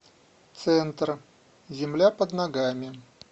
центр земля под ногами